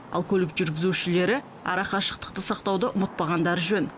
ал көлік жүргізушілері арақашықтықты сақтауды ұмытпағандары жөн